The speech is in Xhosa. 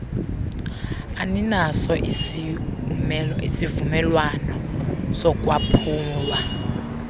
aninaso isiumelwano sokwaphulwa